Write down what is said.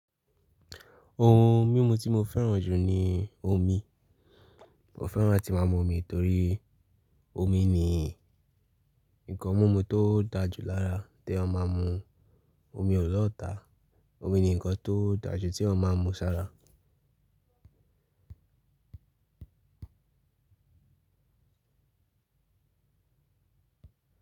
Ohun mímu tí mo fẹ́ràn jù ni omi. Mo fẹ́ràn atí máa mu omi torí omi ni nǹkan mímu tó dá jù lára tí èèyàn máa mu. Omi ò lọtá. Omi ni nǹkan tó dá jù tí èèyàn máa ń mu sára.